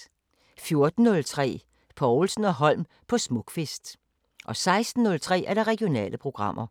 14:03: Povlsen & Holm på Smukfest 16:03: Regionale programmer